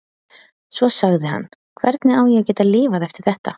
Svo sagði hann: Hvernig á ég að geta lifað eftir þetta?